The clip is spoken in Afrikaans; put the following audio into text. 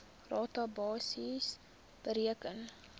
rata basis bereken